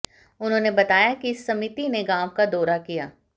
उन्होंने बताया कि समिति ने गांव का दौरा किया